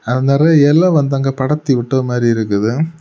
ஆ நறைய இலை வந்து அங்கெ படர்த்தி விட்டது மாதிரி இருக்குது.